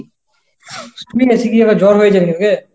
শুইনা শুকি আবার জ্বর হয়েছে নাকি রে ?